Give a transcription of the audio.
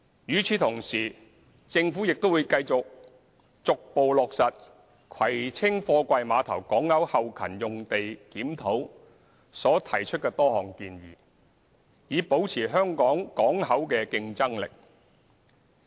與此同時，政府會繼續逐步落實葵青貨櫃碼頭港口後勤用地檢討所提出的多項建議，以保持香港港口的競爭力。